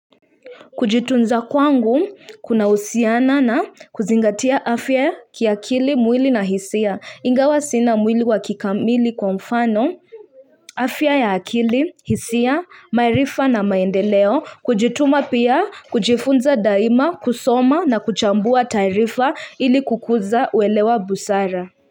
Kujitunza kwangu kunahusiana na kuzingatia afya kiakili mwili na hisia ingawa sina mwili wa kikamili kwa mfano afya ya akili hisia maarifa na maendeleo kujituma pia, kujifunza daima, kusoma na kuchambua taarifa ili kukuza uelewa busara.